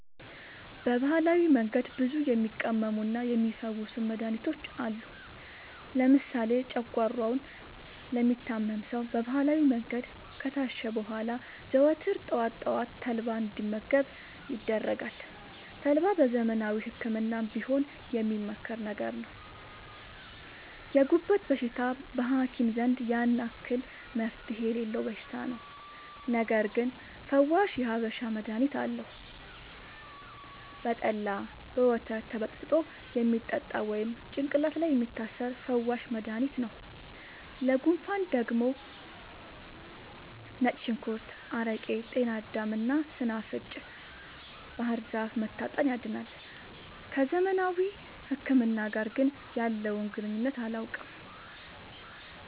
በባህላዊ መንገድ ብዙ የሚቀመሙና የሚ ፈውሱ መድሀኒቶች አሉ። ለምሳሌ ጨጓሯውን ለሚታመም ሰው በባህላዊ መንገድ ከታሸ በኋላ ዘወትር ጠዋት ጠዋት ተልባ እንዲ መገብ ይደረጋል ተልባ በዘመናዊ ህክምናም ቢሆን የሚመከር ነገር ነው። የጉበት በሽታ በሀኪም ዘንድ ያን አክል መፍትሄ የሌለው በሽታ ነው። ነገርግን ፈዋሽ የሀበሻ መድሀኒት አለው። በጠላ፣ በወተት ተበጥብጦ የሚጠጣ ወይም ጭቅላት ላይ የሚታሰር ፈዋሽ መደሀኒት ነው። ለጉንፉን ደግሞ ነጭ ሽንኩርት አረቄ ጤናዳም እና ሰናፍጭ ባህርዛፍ መታጠን ያድናል።። ከዘመናዊ ህክምና ጋር ግን ያለውን ግንኙነት አላውቅም።